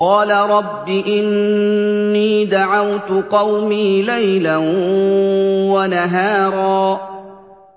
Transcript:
قَالَ رَبِّ إِنِّي دَعَوْتُ قَوْمِي لَيْلًا وَنَهَارًا